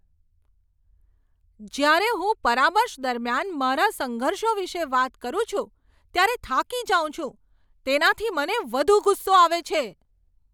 જ્યારે હું પરામર્શ દરમિયાન મારા સંઘર્ષો વિશે વાત કરું છું, ત્યારે થાકી જાઉં છું. તેનાથી મને વધુ ગુસ્સો આવે છે.